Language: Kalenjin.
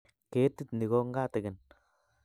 Ketit ni ko ngatigin